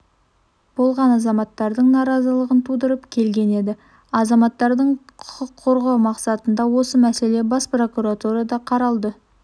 болған азаматтардың наразылығын тудырып келген еді азаматтардың құқын қорғау мақсатында осы мәселе бас прокуратурада қаралды